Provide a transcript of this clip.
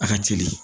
A ka teli